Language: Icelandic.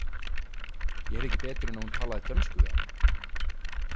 Ég heyrði ekki betur en að hún talaði dönsku við hann.